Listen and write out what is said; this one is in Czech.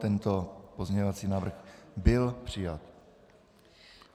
Tento pozměňovací návrh byl přijat.